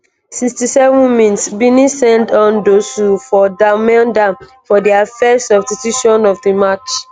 67 mins benin send on dossou for d'almeida for dia first substitution of di match.